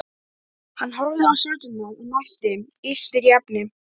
Hann horfði á stjörnurnar og mælti: Illt er í efni.